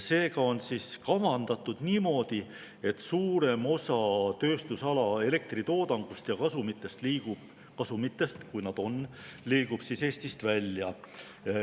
Seega on kavandatud niimoodi, et suurem osa tööstusala elektritoodangust ja kasumitest – kui neid on – liigub Eestist välja.